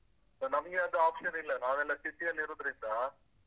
So ನಮ್ಗೆ ಅದು option ಇಲ್ಲ ನಾವೆಲ್ಲ city ಯಲ್ಲಿರುದಿಂದ್ರ.